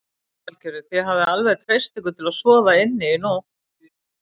Lillý Valgerður: Þið hafið alveg treyst ykkur til að sofa inni í nótt?